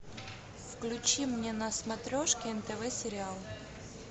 включи мне на смотрешке нтв сериал